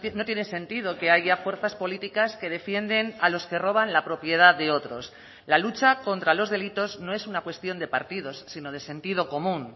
no tiene sentido que haya fuerzas políticas que defienden a los que roban la propiedad de otros la lucha contra los delitos no es una cuestión de partidos sino de sentido común